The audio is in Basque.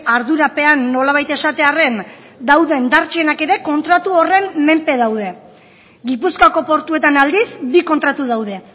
ardurapean nolabait esatearren dauden dartzenak ere kontratu horren menpe daude gipuzkoako portuetan aldiz bi kontratu daude